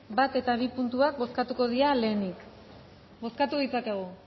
bat eta bi puntuak bozkatuko dira lehenik bozkatu ditzakegu